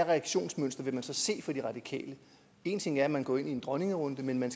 reaktionsmønster vil vi så se fra de radikale en ting er at man går ind i en dronningerunde men